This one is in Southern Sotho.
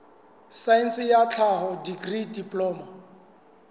saense ya tlhaho dikri diploma